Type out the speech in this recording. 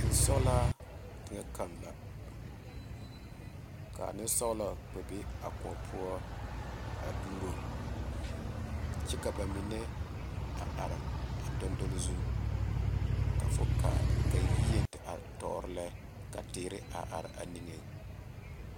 tensɔgelaa teŋa kaŋa la kaa nensɔgelɔ kpɛ be a kóɔ poɔ dugero kyɛ ka ba mine a are a doŋe donle zu ka fo kaa ka yie te are tɔɔre lɛ ka teere are a niŋeŋ